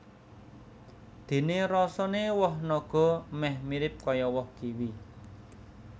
Déné rasané woh naga méh mirip kaya woh kiwi